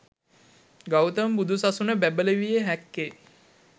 ගෞතම බුදු සසුන බැබලවිය හැක්කේ